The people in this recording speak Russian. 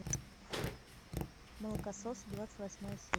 молокосос двадцать восьмая серия